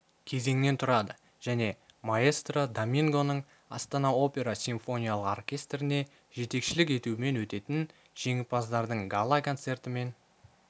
кезеңнен тұрады және маэстро домингоның астана опера симфониялық оркестріне жетекшілік етуімен өтетін жеңімпаздардың гала концертімен